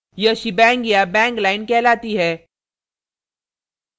यह shebang shebang या bang bang line कहलाती है